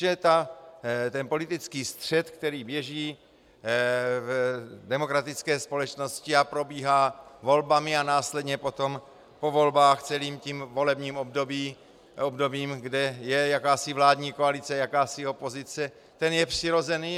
Že ten politický střet, který běží v demokratické společnosti a probíhá volbami a následně potom po volbách celým tím volebním obdobím, kde je jakási vládní koalice, jakási opozice, ten je přirozený.